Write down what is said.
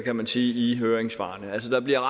kan man sige i høringssvarene der bliver